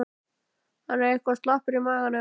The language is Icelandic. Hann er eitthvað slappur í maganum.